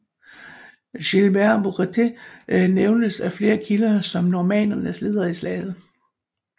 Gilbert Buatère nævnes af flere kilder som normannernes leder i slaget